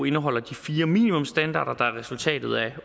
indeholder de fire minimumsstandarder der er resultatet af